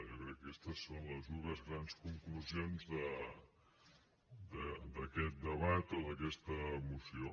jo crec que aquestes són les dues grans conclusions d’aquest debat o d’aquesta moció